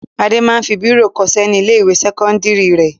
Adé máa ń fi bírò kọṣẹ́ ní ilé-ìwé sẹ́kọ́ndárì rẹ̀.